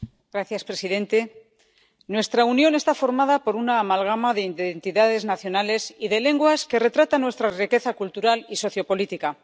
Señor presidente, nuestra Unión está formada por una amalgama de entidades nacionales y de lenguas que retrata nuestra riqueza cultural y sociopolítica.